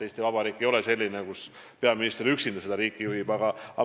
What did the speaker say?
Eesti Vabariik ei ole selline, kus peaminister juhib riiki üksinda.